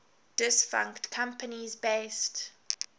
defunct companies based